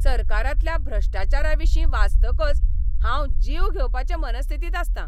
सरकारांतल्या भ्रष्टाचाराविशीं वाचतकच हांव जीव घेवपाचे मनस्थितींत आसतां.